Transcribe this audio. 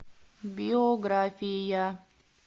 биография